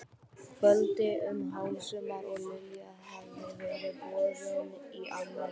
kvöldi um hásumar og Lilja hafði verið boðin í afmæli.